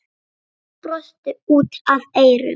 Ég brosi út að eyrum.